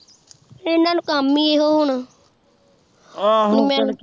ਇਹਨਾਂ ਨੂ ਕੰਮ ਈ ਇਹੋ ਹੁਣ ਮੈਂ ਹੁਣ